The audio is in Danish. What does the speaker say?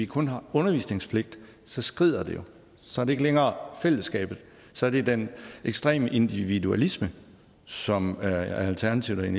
kun er undervisningspligt så skrider det jo så er det ikke længere fællesskabet så er det den ekstreme individualisme som alternativet